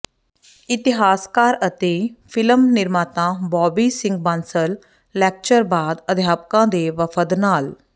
ਇਤਿਹਾਸਕਾਰ ਅਤੇ ਫਿਲਮ ਨਿਰਮਾਤਾ ਬੌਬੀ ਸਿੰਘ ਬਾਂਸਲ ਲੈਕਚਰ ਬਾਅਦ ਅਧਿਆਪਕਾਂ ਦੇ ਵਫ਼ਦ ਨਾਲ